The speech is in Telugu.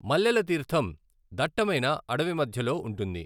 మల్లెల తీర్థం దట్టమైన అడవి మధ్యలో ఉంటుంది.